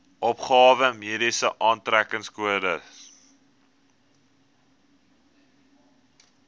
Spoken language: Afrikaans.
opgawe mediese aftrekkingskode